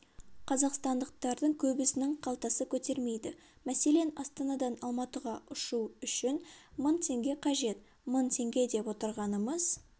қазақстандықтардың көбісінің қалтасы көтермейді мәселен астанадан алматыға ұшу үшін мың теңге қажет мың теңге деп отырғанымыз